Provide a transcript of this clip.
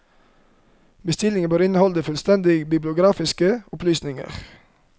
Bestillingene bør inneholde fullstendige bibliografiske opplysninger.